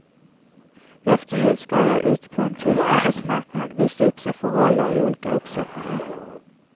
Efter jul ska de ut på en tuff arbetsmarknad, visa upp sig för roller i olika uppsättningar.